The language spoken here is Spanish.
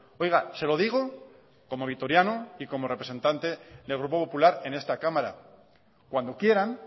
oiga se lo digo como vitoriano y como representante del grupo popular en esta cámara cuando quieran